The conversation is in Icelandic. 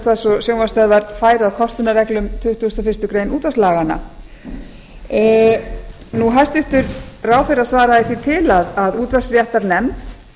útvarps og sjónvarpsstöðvar færu að kostunarreglum tuttugasta og fyrstu grein útvarpslaganna hæstvirtur ráðherra svaraði því til að útvarpsréttarnefnd